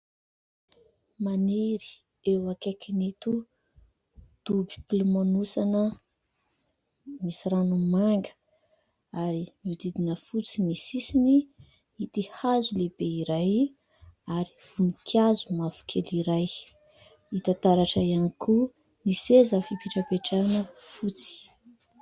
Maniry eo akaikin'ito dobo mpilomanosana misy rano manga ary mihodidina fotsy ny sisiny ity hazo lehibe iray ary voninkazo mavokely iray, hita taratra ihany koa ny seza fipetrapetrahana fotsy.